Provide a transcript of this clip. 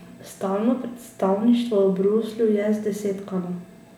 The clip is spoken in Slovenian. Stalno predstavništvo v Bruslju je zdesetkano.